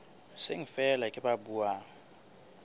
seng feela ke ba buang